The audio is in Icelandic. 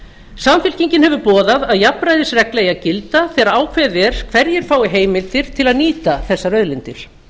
samfylkingin hefur boðað að jafnræðisregla eigi að gilda þegar ákveðið er hverjir fái heimildir til að nýta þessar auðlindir